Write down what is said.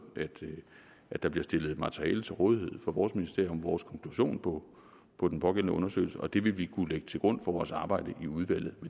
at der bliver stillet materiale til rådighed fra vores ministeriums vores konklusion på på den pågældende undersøgelse og det vil vi kunne lægge til grund for vores arbejde i udvalget